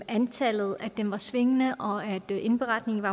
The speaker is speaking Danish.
antallet var svingende og at indberetningen